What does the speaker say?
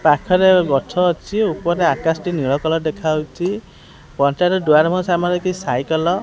ପାଖରେ ଗଛ ଅଛି ଉପରେ ଆକାଶ ଟି ନୀଳ କଲର୍ ଦେଖାଯାଉଚି ପଞ୍ଚାୟତ ଦୁଆର ମୁହିଁ ସାମ୍ନା ରେ କିଛି ସାଇକଲ ।